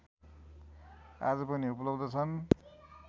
आज पनि उपलब्ध छन्